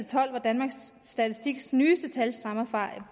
tolv hvor danmarks statistiks nyeste tal stammer fra